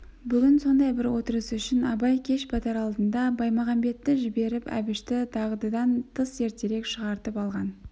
бүгін сондай бір отырыс үшін абай кеш батар алдында баймағамбетті жіберіп әбішті дағдыдан тыс ертерек шақыртып алған